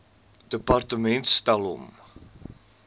departement stel hom